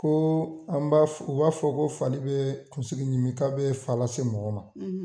Ko an b'a fɔ u b'a fɔ ko fali be kunsigi ɲimi ka be fa lase mɔgɔ ma